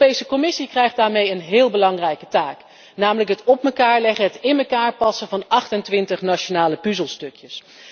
De Europese Commissie krijgt daarmee een heel belangrijke taak, namelijk het op elkaar leggen, het in elkaar passen van 28 nationale puzzelstukjes.